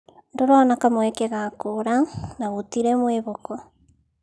Ndũrona kamweke ga kũũra na gũtirĩ mwĩhoko